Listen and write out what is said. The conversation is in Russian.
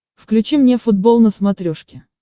включи мне футбол на смотрешке